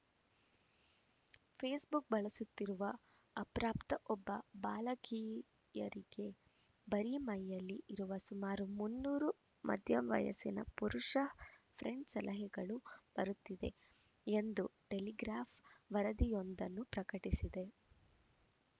Facebook ಬಳಸುತ್ತಿರುವ ಅಪ್ರಾಪ್ತ ಒಬ್ಬ ಬಾಲಕಿಯರಿಗೆ ಬರಿ ಮೈಯಲ್ಲಿ ಇರುವ ಸುಮಾರು ಮುನ್ನೂರು ಮಧ್ಯವಯಸ್ಸಿನ ಪುರುಷ ಫ್ರೆಂಡ್‌ ಸಲಹೆಗಳು ಬರುತ್ತಿದೆ ಎಂದು ಟೆಲಿಗ್ರಾಫ್‌ ವರದಿಯೊಂದನ್ನು ಪ್ರಕಟಿಸಿದೆ